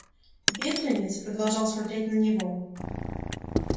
бедренец продолжал смотреть на него